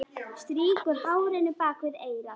Strýkur hárinu bak við eyrað.